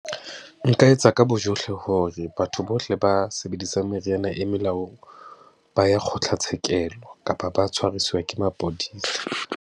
Nka etsa ka bojohle hore batho bohle ba sebedisang meriana e melaong, ba ye kgotlatshekelo kapa ba tshwarisiwe ke mapodisa.